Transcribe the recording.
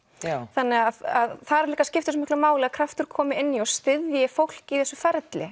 þannig að þar líka skiptir svo miklu máli að kraftur komi inn í og styðji fólk í þessu ferli